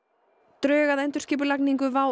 drög að endurskipulagningu WOW